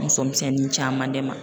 Muso misɛnnin caman de ma.